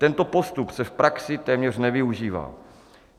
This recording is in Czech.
Tento postup se v praxi téměř nevyužívá.